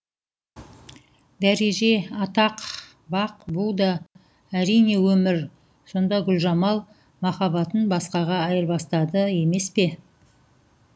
дәреже атақ бақ бұ да әрине өмір сонда гүлжамал махаббатын басқаға айырбастады емес пе